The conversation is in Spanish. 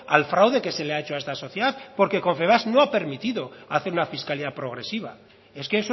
al fraude que se le ha hecho a esta sociedad porque confebask no ha permitido hacer una fiscalidad progresiva es que